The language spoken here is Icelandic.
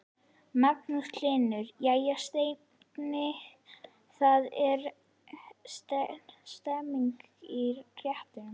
Magnús Hlynur: Jæja Steini, það er stemning í réttunum?